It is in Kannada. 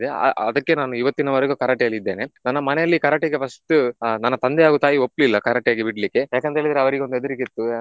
ಅ~ ಅದಕ್ಕೆ ನಾನು ಇವತ್ತಿನವರೆಗೂ Karate ಯಲ್ಲಿ ಇದ್ದೇನೆ. ನನ್ನ ಮನೆಯಲ್ಲಿ Karate ಗೆ first ಆಹ್ ನನ್ನ ತಂದೆ ಹಾಗು ತಾಯಿ ಒಪ್ಲಿಲ್ಲ Karate ಗೆ ಬಿಡ್ಲಿಕ್ಕೆ ಯಾಕಂತೇಳಿದ್ರೆ ಅವರಿಗೆ ಒಂದು ಹೆದರಿಕೆ ಇತ್ತು